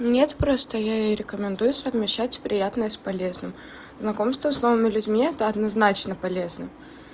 нет просто я и рекомендую совмещать приятное с полезным знакомства с новыми людьми это однозначно полезно